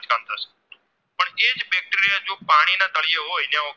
ને તળિયે હોય